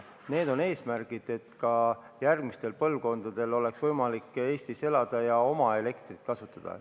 Need on eesmärgid, et ka järgmistel põlvkondadel oleks võimalik Eestis elada ja oma elektrit kasutada.